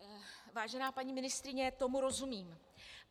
Vážená paní ministryně, tomu rozumím.